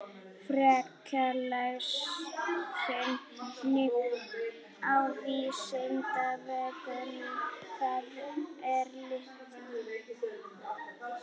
Frekara lesefni á Vísindavefnum: Hvað eru litir?